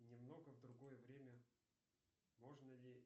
немного в другое время можно ли